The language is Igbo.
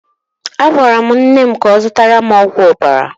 A gwara m nne m ka ọ zụtara m ọgwụ ọbara.